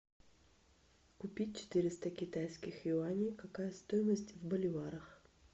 купить четыреста китайских юаней какая стоимость в боливарах